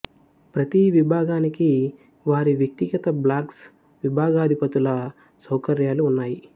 ప్రతి విభాగానికి వారి వ్యక్తిగత బ్లాక్స్ విభాగాధిపతుల సౌకర్యాలు ఉన్నాయి